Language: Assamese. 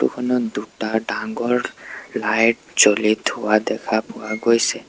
ফটো খনত দুটা ডাঙ্গৰ লাইট জ্বলি থোৱা দেখা পোৱা গৈছে।